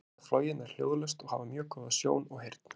Þær geta flogið nær hljóðlaust og hafa mjög góða sjón og heyrn.